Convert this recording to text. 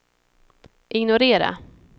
ignorera